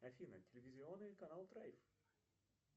афина телевизионный канал драйв